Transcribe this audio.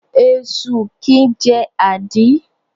Esu kìí jẹ́ àdí.